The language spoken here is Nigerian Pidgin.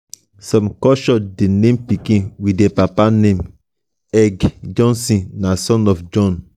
some culture de name pikin with their papa name eg. jonsson na son of jon